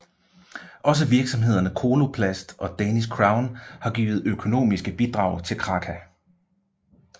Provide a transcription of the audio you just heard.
Også virksomhederne Coloplast og Danish Crown har givet økonomiske bidrag til Kraka